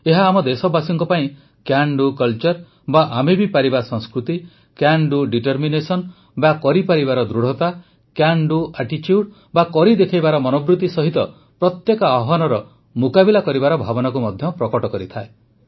ଏହା ଆମ ଦେଶବାସୀଙ୍କ ପାଇଁ କ୍ୟାନ୍ ଡୁ କଲଚର୍ ବା ଆମେ ବି ପାରିବା ସଂସ୍କୃତି କ୍ୟାନ୍ ଡୁ ଡିଟରମିନେସନ ବା କରିପାରିବାର ଦୃଢ଼ତା କ୍ୟାନ ଡୁ ଆଟିଚ୍ୟୁଡ ବା କରି ଦେଖାଇବାର ମନୋବୃତ୍ତି ସହିତ ପ୍ରତ୍ୟେକ ଆହ୍ୱାନର ମୁକାବିଲା କରିବାର ଭାବନାକୁ ମଧ୍ୟ ପ୍ରକଟ କରିଥାଏ